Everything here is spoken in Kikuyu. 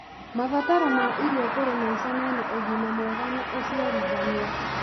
mabataro ma irio kũrĩ maica mena ũgima mwega na ũciarithania.